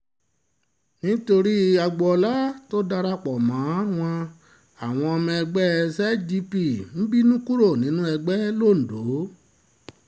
nítorí agboola tó dara pọ̀ mọ́ wọn àwọn ọmọ ẹgbẹ́ zgp ń bínú kúrò nínú ẹgbẹ́ londo